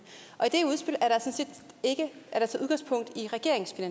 ikke